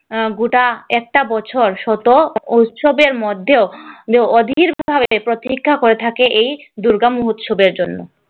গোটা একটা বছর শত উৎসবের মধ্যেও অধীরভাবে প্রতীক্ষা করে থাকে এই দূর্গা মহোৎসবের জন্য।